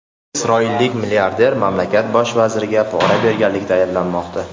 Isroillik milliarder mamlakat bosh vaziriga pora berganlikda ayblanmoqda.